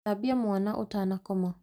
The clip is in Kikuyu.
Thambia mwana ũtanakoma